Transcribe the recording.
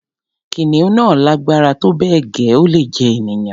kìnìún náà lágbára tó bẹ́ẹ̀ gẹ́, ó lè jẹ ènìyàn